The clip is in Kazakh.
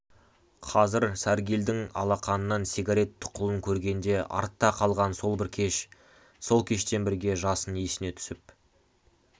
қазір сәргелдің алақанынан сигарет тұқылын көргенде артта қалған сол бір кеш сол кешпен бірге жасын есіне түсіп